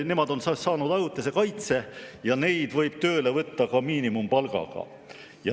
Nemad on saanud ajutise kaitse ja neid võib tööle võtta ka miinimumpalga eest.